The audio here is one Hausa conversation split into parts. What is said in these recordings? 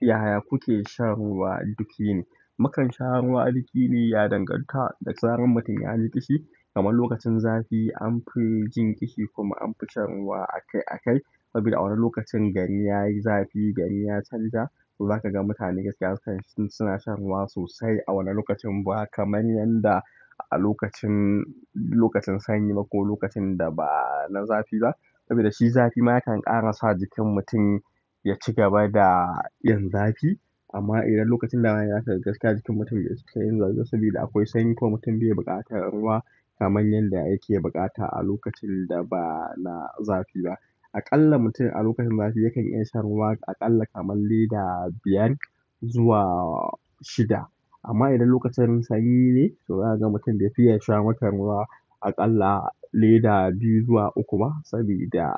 Ya kuke shan ruwa duk yini? Mukan sha ruwa duk yini ya danganta da zarar mutum yaji ƙishi kamar lokacin zafi an fi jin ƙishi kuma an fi shan ruwa akai-akai saboda a wannan lokacin gari yayi zafi, gari ya canja. To za ka ga mutane gaskiya suna shan ruwa sosai a wannan lokacin ba kamar yadda a lokacin, lokacin sanyi ba ko lokacin da ba na zafi ba. Saboda shi zafi ma yakan ƙara sa jikin mutum ya ci gaba da yin zafi. Amma idan lokacin damina yazo gaskiya jikin mutum ya saukar da zafi saboda akwai sanyi ko mutum bai buƙata ruwa kamar yadda yake buƙata a lokacin da ba na zafi ba. Aƙalla mutum a lokacin zafi yakan iya shan ruwa aƙalla kamar lita biyar zuwa shida. Amma idan lokacin sanyi ne, zuza ka ga mutum bai fiya sha makon ruwa aƙalla leda biyu zuwa uku ba saboda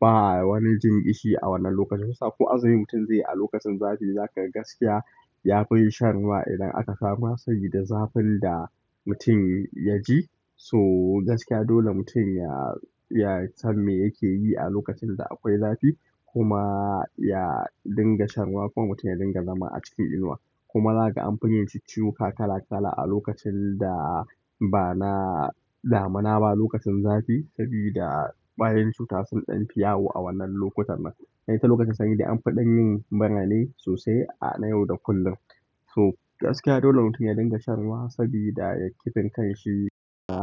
ba wani jin ƙishi a wannan lokacin. Kusa ko a zaɓi mutum zai yi a lokacin zafi, za ka ga gaskiya ya fi shan ruwa idan aka samu hassaƙi da zafin da mutum ya ji. So gaskiya dole mutum ya, ya san me yake yi a lokacin da akwai zafi kuma ya dinga shan ruwa. Kuma mutum ya dinga zama a cikin inuwa. Kuma zaka ga anfi jin cicciwoka a lokacin da bana damuna ba lokacin zafi ƙwayoyin cuta sun ɗan fi yawo a lokacin nan sai ta lokacin sanyi ne an fiɗan yin mura ne sosai na yau da kullum. To gaskiya dole mutum ya dinga shan ruwa saboda ya ƙifin kanshi da.